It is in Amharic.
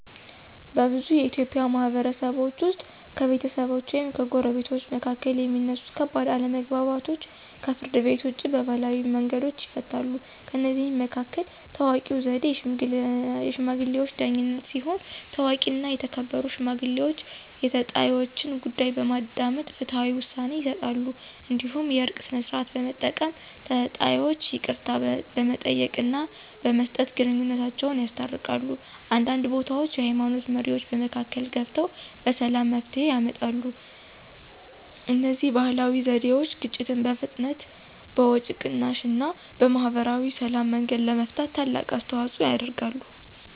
በብዙ የኢትዮጵያ ማህበረሰቦች ውስጥ ከቤተሰቦች ወይም ከጎረቤቶች መካከል የሚነሱ ከባድ አለመግባባቶች ከፍርድ ቤት ውጭ በባህላዊ መንገዶች ይፈታሉ። ከእነዚህ መካከል ታዋቂው ዘዴ “የሽማግሌዎች ዳኝነት” ሲሆን፣ ታዋቂና የተከበሩ ሽማግሌዎች የተጣይወችን ጉዳይ በማዳመጥ ፍትሃዊ ውሳኔ ይሰጣሉ። እንዲሁም “የእርቅ ሥርዓት” በመጠቀም ተጣይወች ይቅርታ በመጠየቅና በመስጠት ግንኙነታቸውን ያስታርቃሉ። አንዳንድ ቦታዎች የሃይማኖት መሪዎችም በመካከል ገብተው በሰላም መፍትሄ ያመጣሉ። እነዚህ ባህላዊ ዘዴዎች ግጭትን በፍጥነት፣ በወጪ ቅናሽ እና በማህበራዊ ሰላም መንገድ ለመፍታት ትልቅ አስተዋፅኦ ያደርጋሉ።